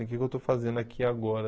O que que eu estou fazendo aqui agora?